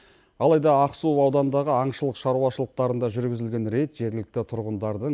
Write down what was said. алайда ақсу ауданындағы аңшылық шаруашылықтарында жүргізілген рейд жергілікті тұрғындардың